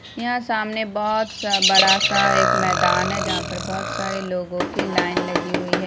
यहाँ सामने बहुत सा बड़ा सा एक मैदान है जहाँ पर बहुत सारे लोगों की लाइन लगी हुई है।